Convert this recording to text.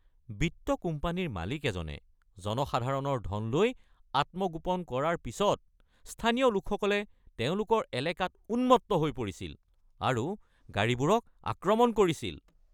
বিত্ত কোম্পানীৰ মালিক এজনে জনসাধাৰণৰ ধন লৈ আত্মগোপন কৰাৰ পিছত স্থানীয় লোকসকলে তেওঁলোকৰ এলেকাত উন্মত্ত হৈ পৰিছিল আৰু গাড়ীবোৰক আক্ৰমণ কৰিছিল।